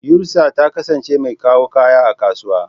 Yusra ta kasance mai kawo kaya a kasuwa.